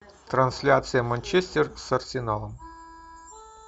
трансляция манчестер с арсеналом